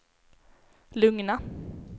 lugna